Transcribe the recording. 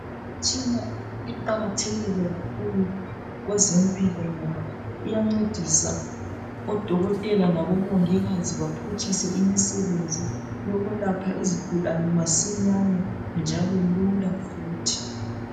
Imitshina iqakathekile kakhulu kwezempilo ngoba iyancedisa oDokotela labomongikazi baphutshise imisebenzi yokwelapha izigulane masinyane njalo lula futhi.